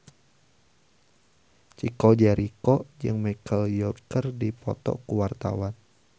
Chico Jericho jeung Michelle Yeoh keur dipoto ku wartawan